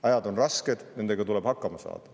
Ajad on rasked, nendega tuleb hakkama saada.